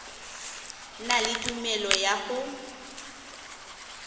na le tumelelo ya go